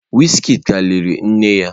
Wizkid ka liri nne ya.